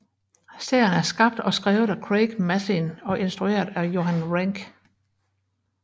Serien er skabt og skrevet af Craig Mazin og instrueret af Johan Renck